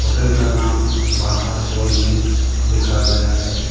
Hotel का नाम बाहर बोर्ड में लिखा गया है।